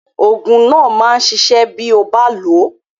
Oògùn náà máa ṣiṣẹ́ bí ó bá lò ó.